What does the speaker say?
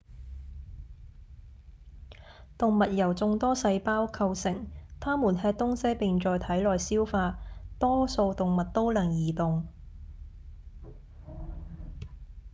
動物由眾多細胞構成牠們吃東西並在體內消化多數動物都能移動